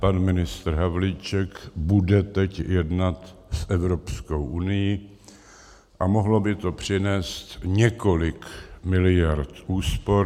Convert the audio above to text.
Pan ministr Havlíček bude teď jednat s Evropskou unií a mohlo by to přinést několik miliard úspor.